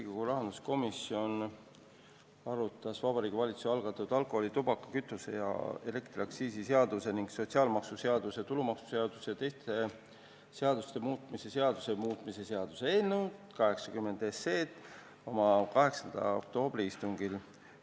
Riigikogu rahanduskomisjon arutas Vabariigi Valitsuse algatatud alkoholi-, tubaka-, kütuse- ja elektriaktsiisi seaduse ning sotsiaalmaksuseaduse, tulumaksuseaduse ja teiste seaduste muutmise seaduse muutmise seaduse eelnõu 80 oma 8. oktoobri istungil.